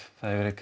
það er verið að